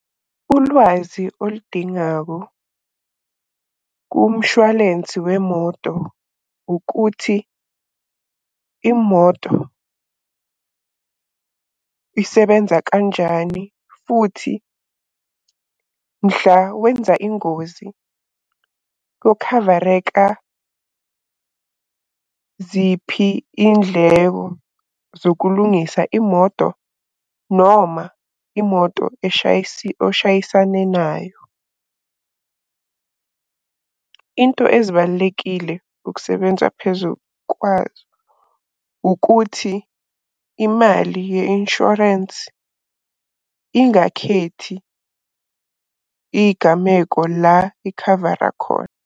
Ulwazi oludingako kumshwalensi wemoto ukuthi imoto isebenza kanjani futhi mhla wenza ingozi kokhavareka ziphi iy'ndleko zokulungisa imoto noma imoto oshayisane nayo. Into ezibalulekile ukusebenza phezu kwazo ukuthi imali ye-inshorensi ingakhethi iy'gameko la ikhavara khona.